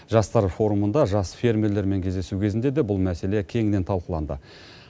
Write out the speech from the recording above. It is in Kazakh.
жастар форумында жас фермерлермен кездесу кезінде де бұл мәселе кеңінен талқыланды